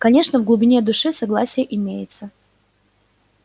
конечно в глубине души согласие имеется